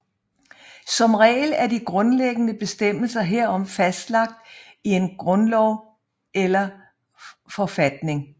Som regel er de grundlæggende bestemmelser herom fastlagt i en grundlov eller forfatning